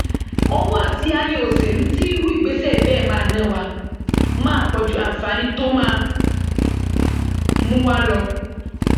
owó àti aáyán òṣèlú tí irú ìgbésẹ bẹẹ máa ná wa máa pọ ju àǹfààní tó máa mú wa lọ